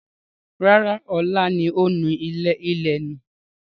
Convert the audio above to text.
Rárá, ọ̀la ni ó nù ilẹ̀ nù.